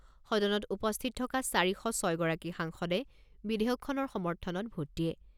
সদনত উপস্থিত থকা চাৰি শ ছয় গৰাকী সাংসদে বিধেয়কখনৰ সমৰ্থনত ভোট দিয়ে।